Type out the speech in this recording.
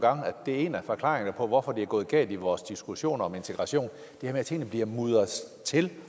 det er en af forklaringerne på hvorfor det er gået galt i vores diskussioner om integration at tingene bliver mudret til